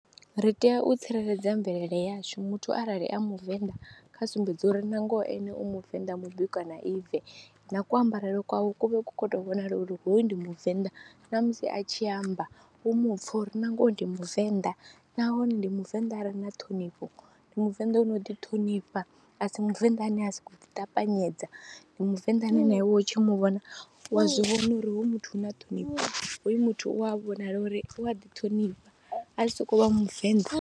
Ri tea u tsireledza mvelele yashu muthu arali a muvenḓa kha sumbedza uri nangoho ene u muvenḓa mubikwa na ive na kuambarele kwawe ku vhe ku khou tou vhonala uri hoyu ndi muvenḓa na musi a tshi amba u mu pfha uri na ngoho ndi muvenḓa nahone ndi muvenḓa a re na ṱhonifho. Ndi muvenḓa u no u ḓi ṱhonifha, a si muvenḓa ane a sokou ḓiṱapanyedza, ndi muvenḓa ane na iwe u tshi mu vhona wa zwi vhona uri hoyu muthu hu na ṱhonifho, hoyu muthu u a vhonala uri u a ḓiṱhonifha ha sokou vha muvenḓa.